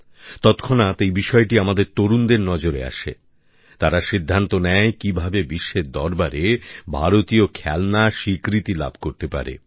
তৎক্ষণাৎ এই বিষয়টি আমাদের তরুণদের নজরে আসে তারা সিদ্ধান্ত নেয় কিভাবে বিশ্বের দরবারে ভারতীয় খেলনা স্বীকৃতি লাভ করতে পারে